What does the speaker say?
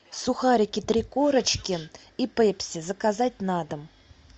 сухарики три корочки и пепси заказать на дом